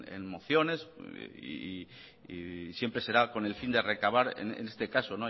en mociones y siempre será con el fin de recabar en este caso